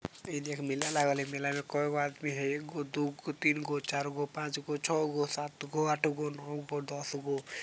इ देख मेला लगल हई मेला मे कईगो आदमी हई एगो दुगो तीनगो चारगो पाचगो छहगो सातगो आठगो नोगो दसगो।